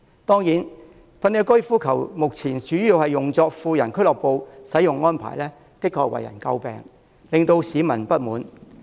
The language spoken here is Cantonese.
當然，粉嶺高爾夫球場目前主要用作富人俱樂部，這種使用安排的確為人詬病，令市民不滿。